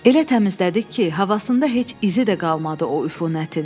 Elə təmizlədik ki, havasında heç izi də qalmadı o üfunətin.